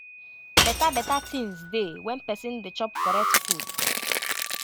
beta beta tinz dey when pesin dey chop correct food